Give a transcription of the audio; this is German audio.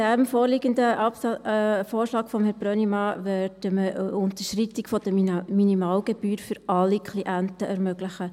Und jetzt, mit diesem vorliegenden Vorschlag von Herrn Brönnimann, würden wir eine Unterschreitung der Minimalgebühr für alle Klienten ermöglichen.